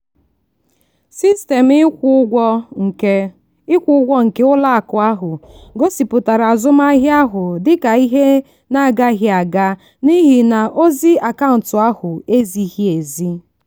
sistemụ ịkwụ ụgwọ nke ịkwụ ụgwọ nke ụlọakụ ahụ gosipụtara azụmahịa ahụ dị ka ihe na-agaghị aga n'ihi na ozi akaụntụ ahụ ezighị ezi.